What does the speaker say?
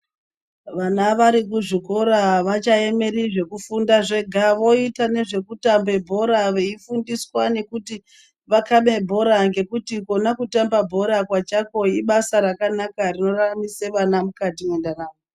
Vana varikuzvikora avachaemeri zvekufunda zvega voita nezvekutambe bhora veifundiswa nekuti vakabe bhora ngekuti kona kutambe bhora pachako ibasa rakanaka rinoraramise vana mukati mwendaramo.